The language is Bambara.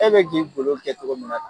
E bɛ k'i golo kɛ cogo min na tan